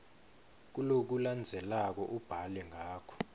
kulokulandzelako ubhale ngako